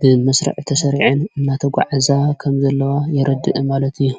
ብመሥረዕ ተሠርዐን እናተ ጕዕዛ ከም ዘለዋ የረድእ ማለት እዩ ::